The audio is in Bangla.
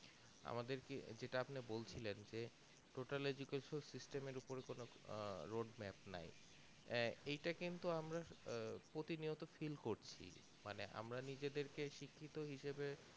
আমাদের যেটা আপন বলছিলেন total education system এর ওপরে কোনো আহ road map নাই আঁ এটা কিন্তু আমরা প্রতিনিয়ত feel করছি মানে আমরা নিজেদেরকে শিক্ষিত হিসাবে